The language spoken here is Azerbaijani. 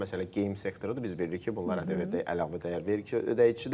Məsələn geyim sektorudur, biz bilirik ki, bunlar ƏDV-də əlavə dəyər vergi ödəyicisidir.